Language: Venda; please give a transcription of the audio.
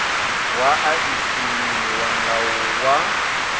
wa a isaniwa ngawo wa